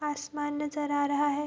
आसमान नजर आ रहा है।